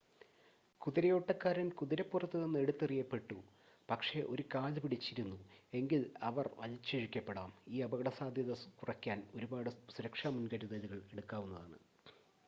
കുതിരയോട്ടക്കാരൻ കുതിരപ്പുറത്തുനിന്ന് എടുത്തെറിയപ്പെട്ടു പക്ഷേ ഒരു കാല് പിടിച്ചിരുന്നു എങ്കിൽ അവർ വലിച്ചിഴയ്ക്കപ്പെടാം ഈ അപകടസാദ്ധ്യത കുറയ്ക്കാൻ ഒരുപാട് സുരക്ഷാ മുൻകരുതലുകൾ എടുക്കാവുന്നതാണ്